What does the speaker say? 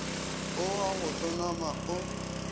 go wa go hlonama o